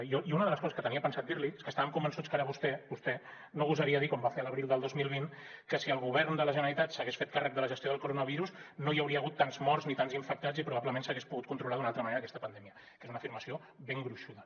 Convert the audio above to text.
jo una de les coses que tenia pensat dir li és que estàvem convençuts que ara vostè vostè no gosaria dir com va fer a l’abril del dos mil vint que si el govern de la generalitat s’hagués fet càrrec de la gestió del coronavirus no hi hauria hagut tants morts ni tants infectats i probablement s’hagués pogut controlar d’una altra manera aquesta pandèmia que és una afirmació ben gruixuda